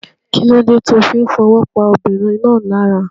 Kílódé ti o fí n fowó pa ọmọbìnrin náà lára